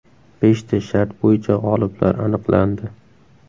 Beshta shart bo‘yicha g‘oliblar aniqlandi.